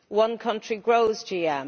One country grows GM.